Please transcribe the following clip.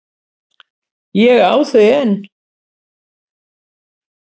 Ég á þau enn.